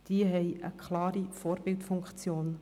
Die öffentlichen Spitäler haben eine klare Vorbildfunktion.